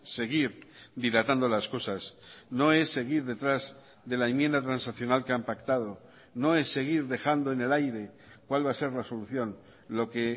seguir dilatando las cosas no es seguir detrás de la enmienda transaccional que han pactado no es seguir dejando en el aire cuál va a ser la solución lo que